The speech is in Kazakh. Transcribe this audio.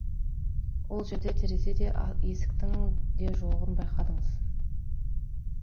ол жерде терезе де есіктің де жоғын байқадыңыз